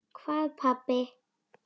Hvað pabbi?